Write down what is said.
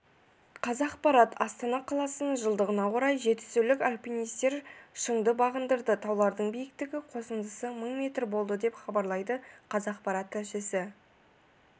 қазақпарат астана қаласының жылдығына орай жетісулық альпинистер шыңды бағындырды таулардың биіктіктерінің қосындысы мың метр болды деп хабарлайды қазақпарат тілшісі